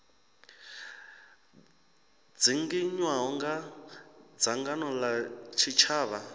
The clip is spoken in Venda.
dzinginywaho nga dzangano la tshitshavha